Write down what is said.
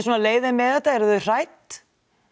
leið þeim með þetta eru þau hrædd